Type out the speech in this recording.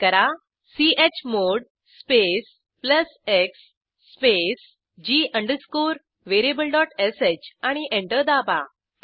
type करा chmod space plus x space g अंडरस्कोरvariablesh आणि एंटर दाबा